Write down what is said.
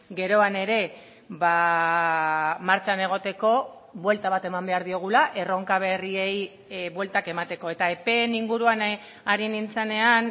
geroan ere martxan egoteko buelta bat eman behar diogula erronka berriei bueltak emateko eta epeen inguruan ari nintzanean